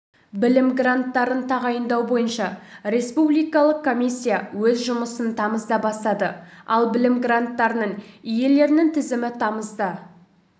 білім гранттарын тағайындау бойынша республикалық комиссия өз жұмысын тамызда бастады ал білім гранттарының иелерінің тізімі тамызда